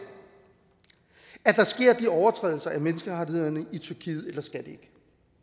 at der sker de overtrædelser af menneskerettighederne i tyrkiet eller skal det